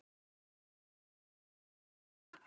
Við bjóðum henni ekki heim í mat.